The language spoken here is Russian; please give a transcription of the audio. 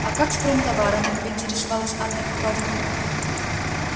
а как с промтоварами поинтересовалась анна петровна